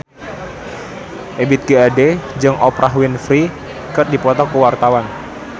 Ebith G. Ade jeung Oprah Winfrey keur dipoto ku wartawan